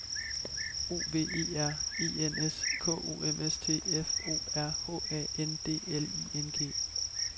O V E R E N S K O M S T F O R H A N D L I N G